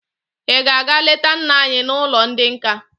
Ị ga-aga leta nna anyị n'ụlọ ndị nka!